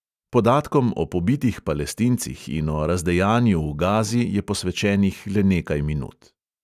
Podatkom o pobitih palestincih in o razdejanju v gazi je posvečenih le nekaj minut.